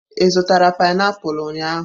Ị zụtara painiapulu ụnyahụ?